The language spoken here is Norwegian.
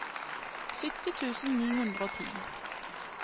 sytti tusen ni hundre og ti